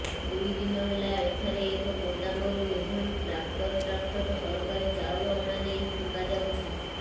ଦୁଇଦିନ ହେଲା ଏଠାରେ ଏକ ଗୋଦାମରୁ ଏଭଳି ଟ୍ରାକ୍ଟର ଟ୍ରାକ୍ଟର ସରକାରୀ ଚାଉଳ ଅଣାଯାଇ ଫିଙ୍ଗାଯାଇଛି